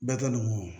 Bɛɛ tɛ nin mun ye